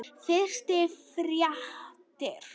Fyrstu fjárréttir